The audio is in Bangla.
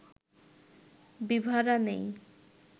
বিভারা নেই